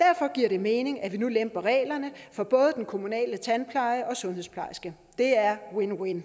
derfor giver det mening at vi nu lemper reglerne for både den kommunale tandpleje og sundhedsplejerske det er win win